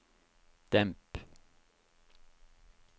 demp